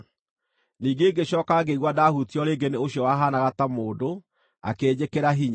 Ningĩ ngĩcooka ngĩigua ndaahutio rĩngĩ nĩ ũcio wahaanaga ta mũndũ, akĩnjĩkĩra hinya.